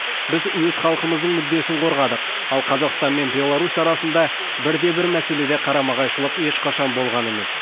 біз өз халқымыздың мүддесін қорғадық ал қазақстан мен беларусь арасында бір де бір мәселеде қарама қайшылық ешқашан болған емес